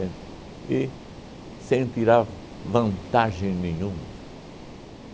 Entende? E sem tirar v vantagem nenhuma?